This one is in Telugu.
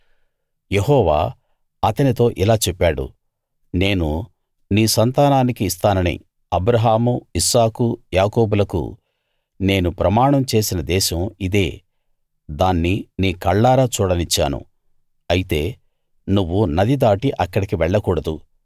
యెహోవా అతనితో ఇలా చెప్పాడు నేను నీ సంతానానికి ఇస్తానని అబ్రాహాము ఇస్సాకు యాకోబులకు నేను ప్రమాణం చేసిన దేశం ఇదే దాన్ని నీ కళ్ళారా చూడనిచ్చాను అయితే నువ్వు నది దాటి అక్కడికి వెళ్లకూడదు